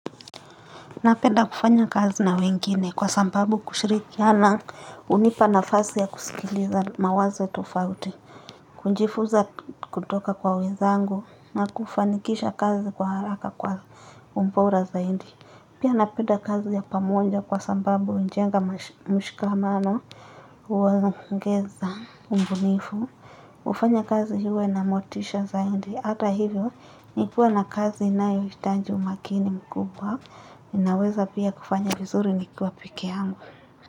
Napenda kufanya kazi na wengine kwa sababu kushirikiana hunipa nafasi ya kusikiliza mawazo tofauti. Kujifunza kutoka kwa wenzangu na kufanikisha kazi kwa haraka kwa ubora zaidi. Pia napenda kazi ya pamoja kwa sababu hujenga mshikamano huongeza ubunifu. Hufanya kazi iwe na motisha zaidi. Hata hivyo nikiwa na kazi inayohitaji umakini mkubwa. Ninaweza pia kufanya vizuri nikiwa peke yangu.